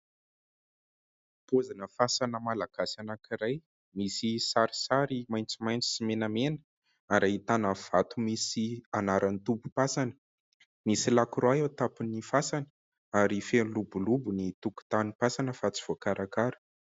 Pozina fasana Malagasy anankiray. Misy sarisary maitsomaitso sy menamena ary ahitana vato misy anaran'ny tompo-pasana. Misy "lacroix" eo an-tapin'ny fasana ary feno lobolobo ny tokotany pasana fa tsy voakarakara.